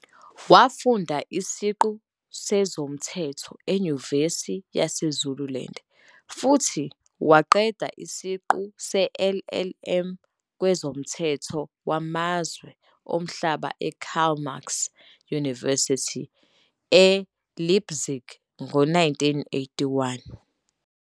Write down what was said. Wafunda isiqu sezomthetho eYunivesithi yaseZululand, futhi waqeda isiqu se-LLM kwezoMthetho Wamazwe Omhlaba eKarl Marx University eLeipzig ngo-1981.